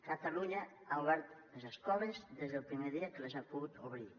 catalunya ha obert les escoles des del primer dia que les ha pogut obrir